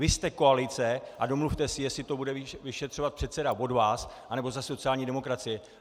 Vy jste koalice a domluvte si, jestli to bude vyšetřovat předseda od vás, anebo ze sociální demokracie.